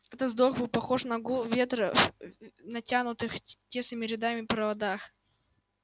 этот вздох был похож на гул ветра в натянутых тесными рядами проводах